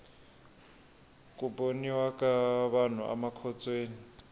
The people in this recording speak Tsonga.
ku boniwa ka vanhu amakhotsweni